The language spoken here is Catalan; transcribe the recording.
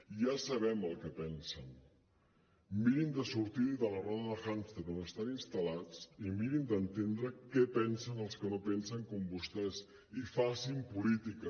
i ja sabem el que pensen miri’n de sortir ne de la roda de hàmster on estan instal·lats i miri’n d’entendre què pensen els que no pensen com vostès i facin política